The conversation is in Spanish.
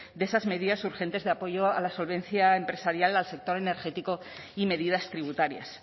de esas medidas urgentes de apoyo a la solvencia empresarial al sector energético y medidas tributarias